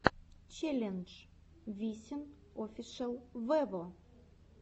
челлендж висин офишел вево